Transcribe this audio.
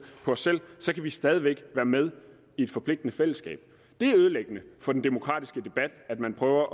så kan vi stadig væk være med i et forpligtende fællesskab det er ødelæggende for den demokratiske debat at man prøver